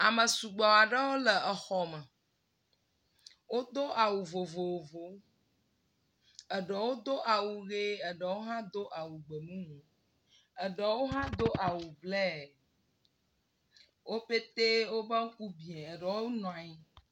Ame sugbɔ aɖewo le xɔ me wodo awu vovovo wo eɖewo do awu ʋee eɖewo hã do awu gbemumu eɖewo hã do awu blɛɛ, wo petee wodo woƒe ŋku biã eɖewo nɔ anyi.